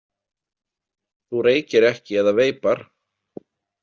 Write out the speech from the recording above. Þú reykir ekki eða veipar?